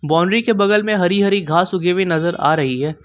Boundary के बगल में हरी हरी घास उगी हुई नजर आ रही है।